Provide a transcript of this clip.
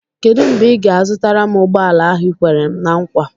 Kedụ mgbe ị ga-azụtara m ụgbọala ahụ i kwere m ná nkwa?